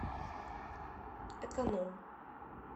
эконом